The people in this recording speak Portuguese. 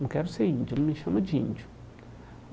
Não quero ser índio, não me chama de índio.